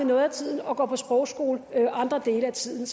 noget af tiden og gå på sprogskole andre dele af tiden